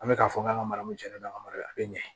An bɛ k'a fɔ k'an ka mara mun tiɲɛna mara a bɛ ɲɛ